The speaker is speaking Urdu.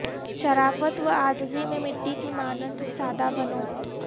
شرافت و عاجزی میں مٹی کی مانند سادہ بنو